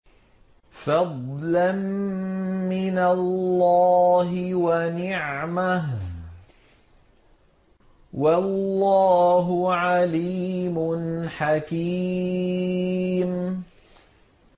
فَضْلًا مِّنَ اللَّهِ وَنِعْمَةً ۚ وَاللَّهُ عَلِيمٌ حَكِيمٌ